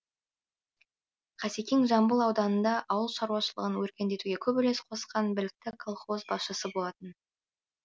қасекең жамбыл ауданында ауыл шаруашылығын өркендетуге көп үлес қосқан білікті колхоз басшысы болатын